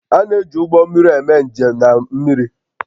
A na-eji ụgbọ mmiri eme njem na mmiri